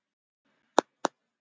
Þær koma úr